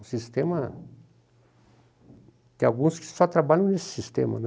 O sistema... Tem alguns que só trabalham nesse sistema, né?